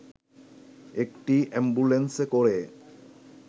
একটি অ্যাম্বুলেন্সে করে